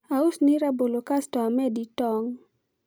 ausni rabolo kasto amedi tong